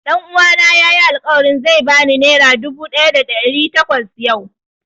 Ɗan uwana ya yi alƙawarin zai ba ni nera dubu ɗaya da ɗari takwas yau